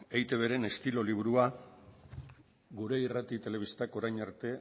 eitbren estilo liburua gure irrati telebistak orain arte